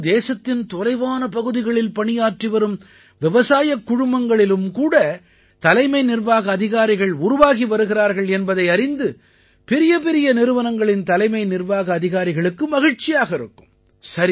இப்போது தேசத்தின் தொலைவான பகுதிகளில் பணியாற்றி வரும் விவசாயக் குழுமங்களிலும் கூட தலைமை நிர்வாக அதிகாரிகள் உருவாகி வருகிறார்கள் என்பதை அறிந்து பெரியபெரிய நிறுவனங்களின் தலைமை நிர்வாக அதிகாரிகளுக்கு மகிழ்ச்சியாக இருக்கும்